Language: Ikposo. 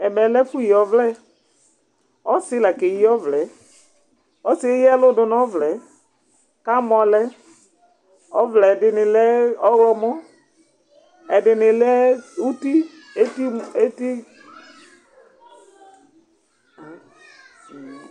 Ɛmɛ lɛ ɛfu yi ɔvlɛ, ɔsi la ke yi ɔvlɛ yɛ, ɔsi yɛ eya ɛlu du nu ɔvlɛ ka mɔ lɛ, ɔvlɛ yɛ ɛdini lɛ ɔwlɔmɔ, ɛdini lɛ uti eti mu eti